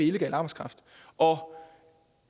illegal arbejdskraft og